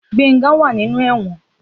Gbenga wa ninu ewon.